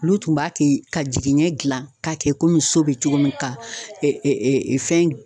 Olu tun b'a kɛ ka jigiɲɛ gilan k'a kɛ komi so bi cogo min ka ɛ ɛ ɛ fɛn